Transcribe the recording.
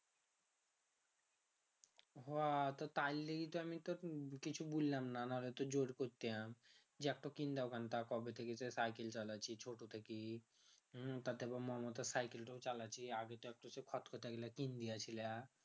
হ তো তাইর লিগা তো আমি কিছু বললাম না নাহলে তো জোর করতাম যে একটা cycle চালাচ্ছি ছোট থেকে তা তে আবার মমতার cycle তা চালাচ্ছি